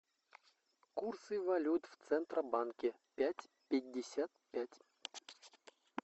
курсы валют в центробанке пять пятьдесят пять